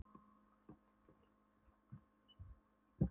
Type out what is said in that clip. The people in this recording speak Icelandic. Gott áttu HRÍSLA, hvíslaði Kobbi taugaóstyrkur fyrir aftan Magga.